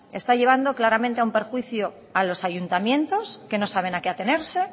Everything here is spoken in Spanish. está llevando claramente a un perjuicio a los ayuntamientos que no saben a qué atenerse